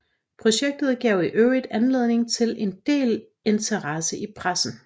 Projektet gav i øvrigt anledning til en del interesse i pressen